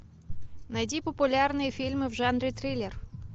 найди популярные фильмы в жанре триллер